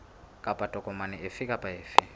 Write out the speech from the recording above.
kapa tokomane efe kapa efe